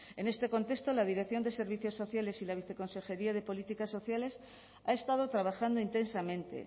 en este contexto la dirección de servicios sociales y la viceconsejería de políticas sociales ha estado trabajando intensamente